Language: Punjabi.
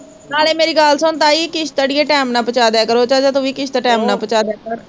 ਨਾਲੈ ਮੇਰੀ ਗੱਲ ਸੁਣ ਤਾਈ, ਕਿਸ਼ਤ ਅੜੀਏ ਟੈਮ ਨਾਲ਼ ਪਹੁੰਚਾ ਦਿਆ ਕਰੋ, ਚਾਚਾ ਤੂੰ ਵੀ ਕਿਸ਼ਤ ਟੈਮ ਨਾਲ਼ ਪਹੁੰਚਾ ਦਿਆ ਕਰ